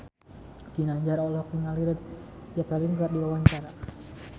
Ginanjar olohok ningali Led Zeppelin keur diwawancara